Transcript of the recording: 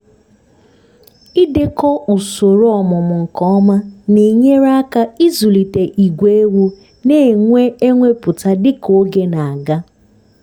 idekọ usoro ọmụmụ nke ọma na-enyere aka izụlite ígwè ewu na-enwe ewepụta dịka oge na-aga